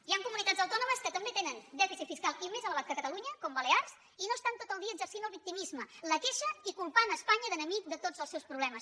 hi han comunitats autònomes que també tenen dèficit fiscal i més elevat que catalunya com balears i no estan tot el dia exercint el victimisme la queixa i culpant espanya d’enemic de tots els seus problemes